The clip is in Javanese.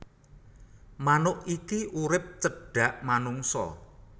Manuk iki urip cedhak manungsa